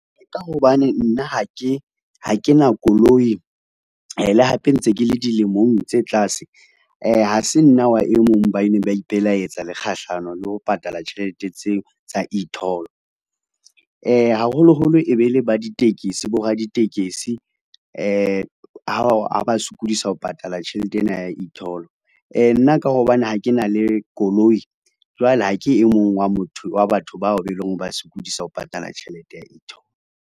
Ka hobane nna ha ke na koloi le hape ntse ke le dilemong tse tlase ha se nna wa e mong ba neng ba ipelaetsa kgahlano le ho patala tjhelete tseo tsa e-toll haholoholo e be le batekesi bo raditekesi , ha ba sokodisa ho patala tjhelete ena ya e-toll. Nna ka hobane ha ke na le koloi jwale ha ke e mong wa batho bao ba eleng hore ba sokodisa ho patala tjhelete ya e-toll.